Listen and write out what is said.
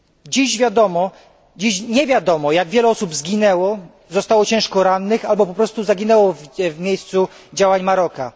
Nie jest dziś wiadomo, jak wiele osób zginęło, zostało ciężko rannych albo po prostu zaginęło w miejscu działań Maroka.